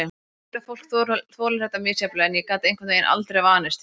Ég veit að fólk þolir þetta misjafnlega en ég gat einhvern veginn aldrei vanist því.